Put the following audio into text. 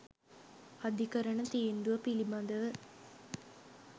"අධිකරණ තීන්දුව පිළිබඳව